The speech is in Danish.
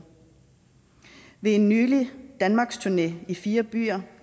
ved en nylig danmarksturné i fire byer